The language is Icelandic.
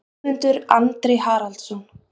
Guðmundur Andri Haraldsson